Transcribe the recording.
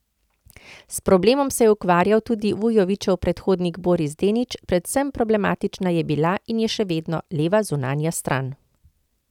S problemom se je ukvarjal tudi Vujovićev predhodnik Boris Denić, predvsem problematična je bila, in je še vedno, leva zunanja stran.